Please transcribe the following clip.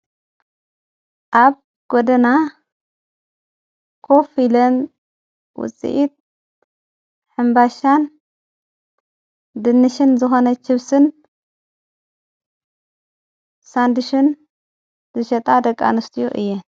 ኣብ ጐድና ኮፍ ኢለን ውፂኢት ሕምባሻን ድንሽን ዝኾነ ችብስን ሳንድችን ዝሸጣ ደቂ ኣንስቲዮ እየን።